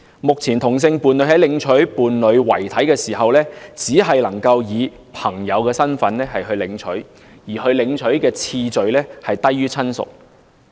目前同性伴侶在領取伴侶遺體時，只能以朋友身份領取，領回次序低於親屬。